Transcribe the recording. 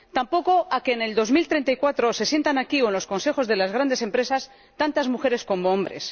Tampoco a que en 2034 se sienten aquí, o en los consejos de las grandes empresas, tantas mujeres como hombres.